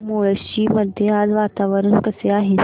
मुळशी मध्ये आज वातावरण कसे आहे